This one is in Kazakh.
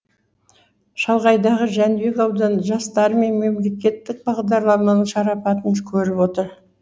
шалғайдағы жәнібек ауданы жастары мен мемлекеттік бағдарламаның шарапатын көріп отыр